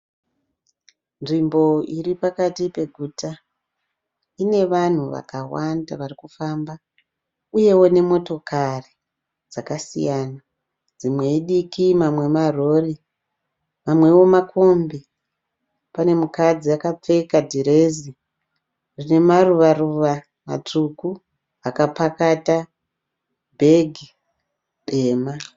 Nzvimbo iripakati peguta. Ine vanhu vakawanda vari kufamba uyewo nemotokari dzakasiyana dzimwe idiki mamwe marori mamwewo makombi. Pane mukadzi akapfeka dhirezi rine maruva ruva matsvuku. Akapakata bhegi dema.